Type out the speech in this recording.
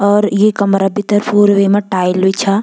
और ये कमरा भीतर पूर वैमा टाइल भी छा ।